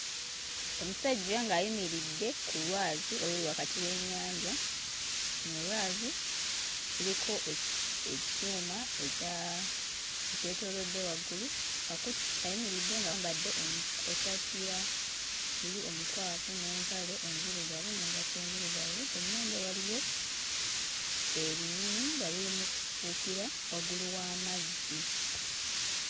Omusajja ng'ayimiridde ku lwazi oluli wakati w'ennyanja. Luno lwazi luliko e, ekyuma ekya ekyetoolodde waggulu akuti ayimiridde ng'ayambadde essaati ya bbulu omukwafu n'empale enzirugavu n'engatto enzirugavu ku nnyanja waliyo ebinyonyi nga biri mu kubuukira wagguli w'amazzi.